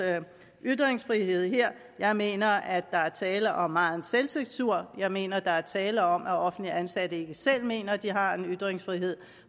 ytringsfrihed her jeg mener at der er tale om megen selvcensur jeg mener der er tale om at offentligt ansatte ikke selv mener de har en ytringsfrihed